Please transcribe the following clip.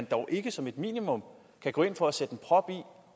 dog ikke som et minimum kan gå ind for at sætte en prop i